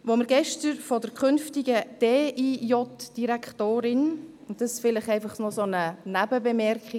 Wir haben gestern von der künftigen Direktorin der Direktion für Inneres und Justiz (DIJ) gehört – und dazu vielleicht noch eine Nebenbemerkung: